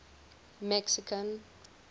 mexican